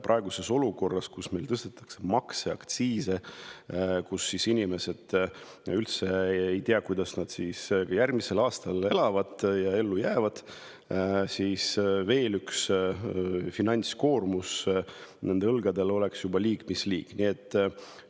Praeguses olukorras, kus meil tõstetakse makse ja aktsiise, kus inimesed ei tea, kuidas nad järgmisel aastal elavad ja ellu jäävad, oleks veel ühe finantskoormuse nende õlgadele liig mis liig.